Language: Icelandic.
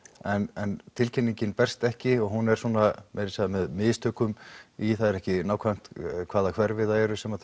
en tilkynningin berst ekki og hún er svona meira að segja með mistökum í það er ekki nákvæmt hvaða hverfi það eru sem